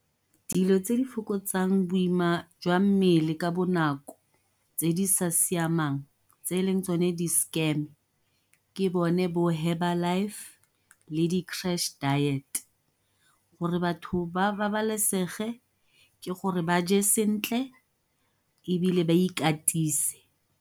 Dilo tse di fokotsang boima jwa mmele ka bonako tse di sa siamang tse e leng tsone di-scam ke bone bo Herbalife le di diet, gore batho ba babalesege ke gore ba je sentle ebile ba ikatise.